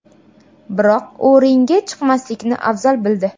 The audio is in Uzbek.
Biroq u ringga chiqmaslikni afzal bildi.